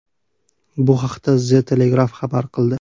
Bu haqda The Telegraph xabar qildi .